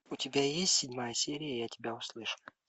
у тебя есть седьмая серия я тебя услышу